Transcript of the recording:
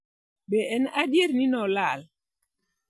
Be en Adier ni ne "Olal"?